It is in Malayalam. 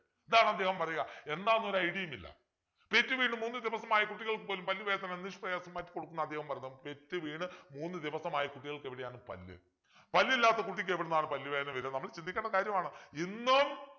ഇതാണ് അദ്ദേഹം പറയുക എന്താന്നൊരു idea യുമില്ല പെറ്റുവീണു മൂന്നു ദിവസമായ കുട്ടികൾക്ക് പോലും പല്ലുവേദന നിഷ്പ്രയാസം മാറ്റിക്കൊടുക്കും എന്നാണ് അദ്ദേഹം പറയുന്നത് പെറ്റുവീണു മൂന്നു ദിവസമായ കുട്ടികൾക്ക് എവിടെയാണ് പല്ല് പല്ലില്ലാത്ത കുട്ടിക്കെവിടുന്നാണ് പല്ലു വേദന വരിക ചിന്തിക്കേണ്ട കാര്യമാണ് ഇന്നും